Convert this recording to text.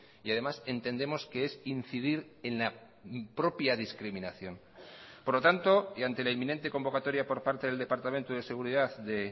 y además entendemos que es incidir en la propia discriminación por lo tanto y ante la inminente convocatoria por parte del departamento de seguridad de